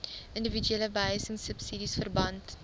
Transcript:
indiwiduele behuisingsubsidies verband